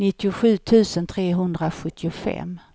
nittiosju tusen trehundrasjuttiofem